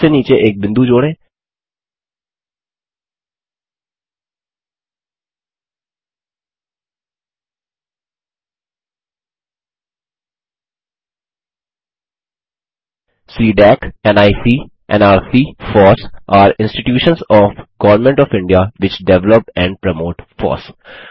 सबसे नीचे एक बिंदु जोड़ें CDAC NIC nrc FOSS are institutions of government of India which develop and promote FOSS